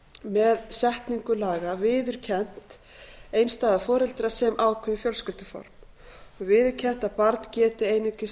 með setningu laga viðurkennt einstæða foreldra sem ákveðið fjölskylduform og viðurkennt að barn geti einungis